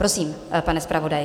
Prosím, pane zpravodaji.